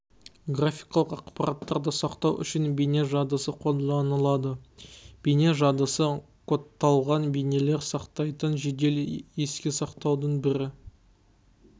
графикалық ақпаратарды сақтау үшін бейне жадысы қолданылады бейне жадысы кодталған бейнелер сақтайтын жедел еске сақтаудың бір